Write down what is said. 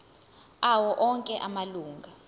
awo onke amalunga